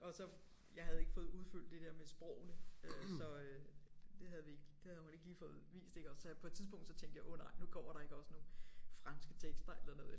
Og så jeg havde ikke fået udfyldt det der med sprogene øh så øh det havde vi ikke det havde hun ikke lige fået vist iggå så på et tidspunkt så tænkte jeg åh nej nu kommer der ikke også nogle franske tekster eller noget